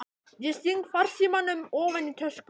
Ég sting farsímanum ofan í tösku.